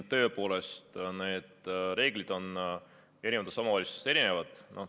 Tõepoolest, need reeglid on eri omavalitsustes erinevad.